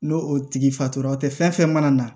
N'o o tigi fatugula o tɛ fɛn fɛn mana na